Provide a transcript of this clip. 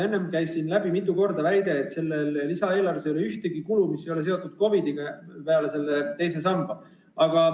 Enne käis siin mitu korda läbi väide, et selles lisaeelarves ei ole ühtegi sellist kulu, mis ei oleks seotud COVID-iga, peale selle teise samba.